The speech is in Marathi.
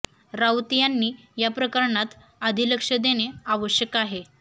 राऊत यांनी या प्रकरणात आधी लक्ष देणे आवश्यक आहे